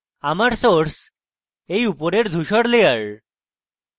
আমার source এই উপরের ধুসর layer